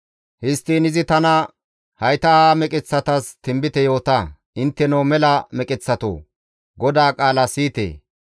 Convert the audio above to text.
Histtiin izi tana, «Hayta ha meqeththatas tinbite yoota; ‹Intteno mela meqeththato, GODAA qaala siyite!